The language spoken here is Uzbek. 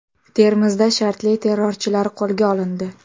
Termizda shartli terrorchilar qo‘lga olindi .